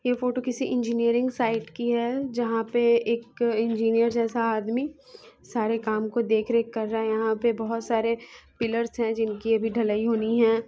यह फोटो किसी engineering site की है जहा पे एक इंजीनियर जेसा आदमी सारे काम को देख रेख कर रहा है यहाँ पे बहुत सारे पिलर्स है जिनकी अभी ढ़लई होनी हैं |